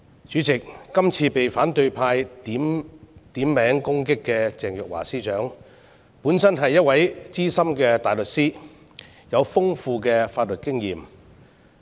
主席，今次被反對派點名攻擊的鄭若驊司長，本身是一位資深大律師，有豐富的法律經驗。